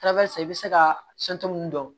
i bɛ se ka min dɔn